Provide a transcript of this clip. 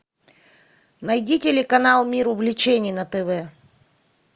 найди телеканал мир увлечений на тв